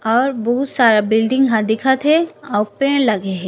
और बहुत सारा बिल्डिंग ह दिखत हे अउ पेड़ लगे हे।